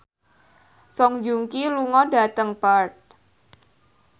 Song Joong Ki lunga dhateng Perth